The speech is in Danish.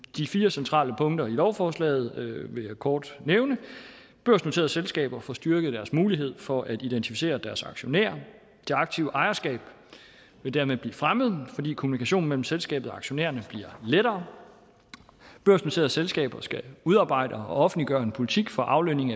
de fire centrale punkter i lovforslaget vil jeg kort nævne børsnoterede selskaber får styrket deres mulighed for at identificere deres aktionærer det aktive ejerskab vil dermed blive fremmet fordi kommunikationen mellem selskabet og aktionærerne bliver lettere børsnoterede selskaber skal udarbejde og offentliggøre en politik for aflønning